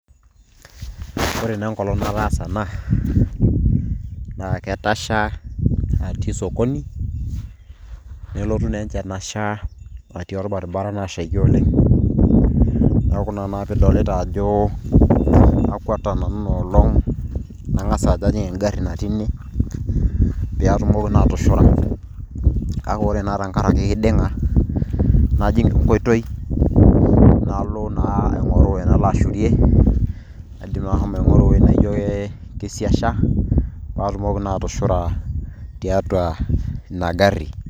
Ore naa enkolong' nataasa ena, na ketasha atii sokoni, nelotu naa enchan asha atii orbaribara nashaki oleng'. Neeku ina naa pidolita ajo akwata nanu inoolong',nang'asa ajo ajing' egarri natii ine. Pe atumoki naa atushura. Ake ore naa tenkaraki iding'a, najing' enkoitoi, nalo naa aing'oru enalo ashurie, aidim ashomo aing'oru ewuei najo ke kisiasha, patumoki naa atushura tiatua ina garri.